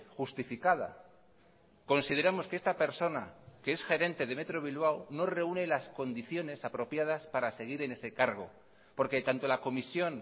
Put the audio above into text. justificada consideramos que esta persona que es gerente de metro bilbao no reúne las condiciones apropiadas para seguir en ese cargo porque tanto la comisión